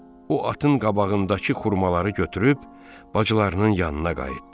O atın qabağındakı xurmaları götürüb bacılarının yanına qayıtdı.